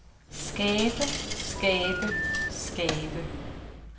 skabe skabe skabe